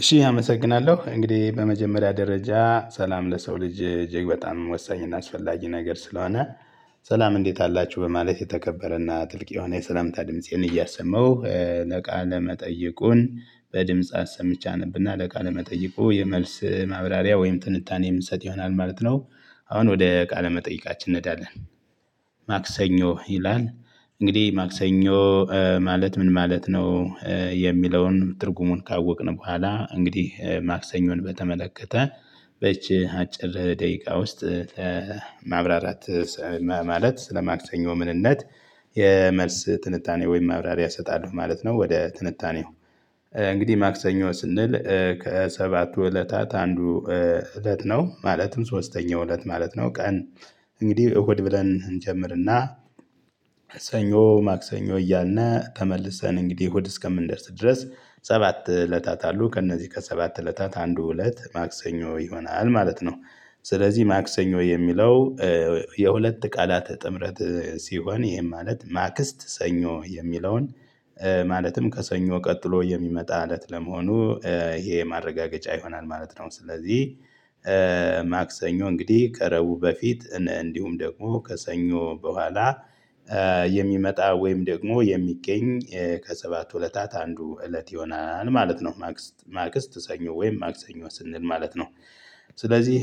እሺ አመሰግናለሁ እንግዲህ በመጀመሪያ ደረጃ ሰላም ለሰው ልጅ እጅግ በጣም ወሳኝና አስፈላጊ ነገር ስለሆነ ሰላም እንዴት አላችሁ በማለት የተከበረና ጥልቅ የሆነ የሰላምታ ድምፄን እያሰማሁ ለቃለ መጠይቁን በድምጽ አሰምቸ አነብና ለቃለ መጠይቁ የመልስ ማብራሪያ ወይም ትንታኔ የምሰጥ ይሆናል ማለት ነው። አሁን ወደ ቃለ መጠይቃችን እንሄዳለን። ማክሰኞ ይላል። እንግዲህ ማክሰኞ ማለት ምን ማለት ነው? የሚለውን ትርጉሙን ካወቅን በኋላ እንግዲህ ማክሰኞን በተመለከተ በይቺ አጭር ደቂቃ ውስጥ ማብራራት ማለት ስለ ማክሰኞ ምንነት የመልስ ትንታኔ ወይም መብራሪያ እሰጣለሁ ማለት ነው። ወደ ትንታኔው እንግዲህ ማክሰኞ ስንል ከሰባቱ እለታት አንዱ እለት ነው ማለትም ሶስተኛው እለት ማለት ነው። ቀን እንግዲህ እሁድ ብለን እንጀምርና ሰኞ ማክሰኞ እያለልነ ተመልሰን እንግዲህ ዕሁድ እስከምንደርስ ድረስ ሰባት እለታት አሉ ከእነዚህ ከሰባት እለታት አንዱ እለት ማክሰኞ ይሆናል ማለት ነው። ስለዚህ ማክሰኞ የሚለው የሁለት ቃላተ ጥምረት ሲሆን ይሄን ማለት ማክስት ሰኞ የሚለውን ማለትም ከሰኞ ቀጥሎ የሚመጣ እለት ለመሆኑ ይሄ ማረጋገጫ ይሆናል ማለት ነው። ስለዚህ ማክሰኞ እንግዲህ ከዕረቡ በፊት እንዲሁም ደግሞ ከሰኞ በኋላ የሚመጣ ወይም ደግሞ የሚገኝ ከሰባት እለታት አንዱ እለት ይሆናል ማለት ነው። ማቅስት ሰኞ ወይም ማክሰኞ ስንል ማለት ነው። ስለዚህ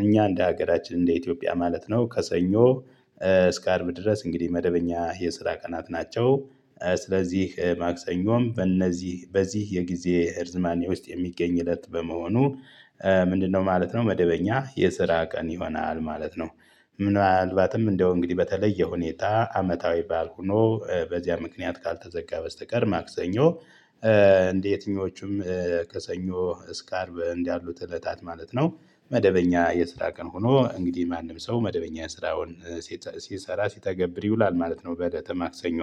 እኛ እንደ ሀገራችን እንደ ኢትዮጵያ ማለት ነው ከሰኞ እስከ አርብ ድረስ እንግዲህ መደበኛ የስራ ቀናት ናቸው። ስለዚህ ማክሰኞም በእነዚህ በዚህ የጊዜ እርዝማኔ ውስጥ የሚገኝ እለት በመሆኑ ምንድነው ማለት ነው መደበኛ የስራ ቀን ይሆናል ማለት ነው። ምናልባትም እንደው እንግዲህ በተለየ ሁኔታ አመታዊ ባል ሁኖ በዚያ ምክንያት ካልተዘጋ በስተቀር ማክሰኞ እንደ የትኞቹም ከሰኞ እስከ አርብ እንዳሉት እለታት ማለት ነው። መደበኛ የስራ ቀን ሆኖ እንግዲህ ማንም ሰው መደበኛ ስራውን ሲሰራ ሲተገብር ይውላል ማለት ነው። በለተ ማክሰኞ።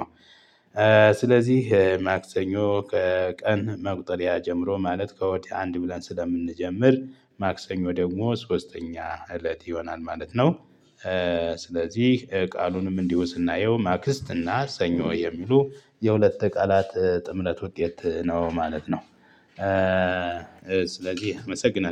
ስለዚህ ማክሰኞ ከቀን መቁጠሪያ ጀምሮ ማለት ከሁድ አንድ ብለን ስለምንጀምር ማክሰኞ ደግሞ ሶስተኛ እለት ይሆናል ማለት ነው። ስለዚህ ቃሉንም እንዲሁ ስናየው ማክስት እና ሰኞ የሚሉ የሁለት ቃላት ጥምርት ውጤት ነው ማለት ነው። ስለዚህ አመሰግናለሁ